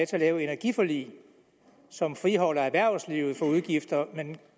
til at lave et energiforlig som friholder erhvervslivet for udgifter men